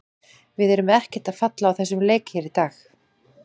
Við erum ekkert að falla á þessum leik hér í dag.